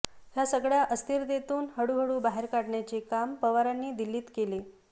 या सगळ्या अस्थिरतेतून हळूहळू बाहेर काढण्याचे काम पवारांनी दिल्लीत केले